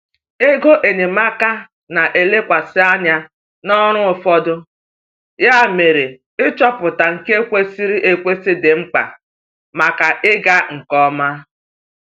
Ego enyemaka na-elekwasị anya n’ọrụ ụfọdụ, ya mere ịchọpụta nke kwesịrị ekwesị dị mkpa maka ịga nke ọma.